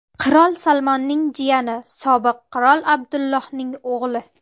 Qirol Salmonning jiyani, sobiq qirol Abdullohning o‘g‘li.